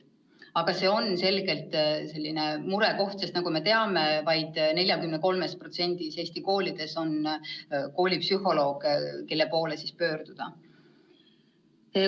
Aga see on selgelt murekoht, sest nagu me teame, vaid 43%-s Eesti koolides on koolipsühholoog, kelle poole saab pöörduda.